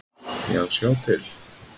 Já, sjá til!